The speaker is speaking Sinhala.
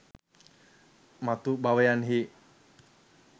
මතු භවයන්හි